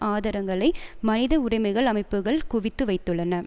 ஆதாரங்களை மனித உரிமைகள் அமைப்புக்கள் குவித்து வைத்துள்ளன